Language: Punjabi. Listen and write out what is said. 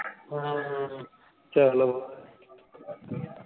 ਹਮ ਚਲੋ